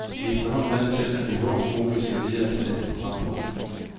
Vi er efterhånden vant til, at vi hurtigst muligt skal videre til næste programpunkt.